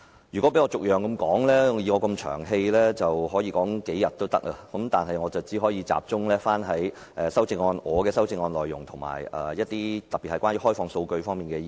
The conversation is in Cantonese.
如果讓我逐一討論，以我這麼"長氣"，能夠說足數天，但我只可集中於我的修正案內容，以及特別是與開放數據有關的一些意見。